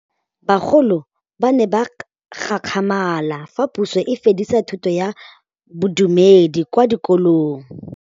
Bagolo ba ne ba gakgamala fa Pusô e fedisa thutô ya Bodumedi kwa dikolong.